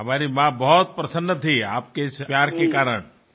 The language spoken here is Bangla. আমার মাও খুব খুশী হয়েছিলেন আপনার এই ভালোবাসা প্রত্যক্ষ করে